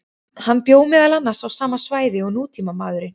Hann bjó meðal annars á sama svæði og nútímamaðurinn.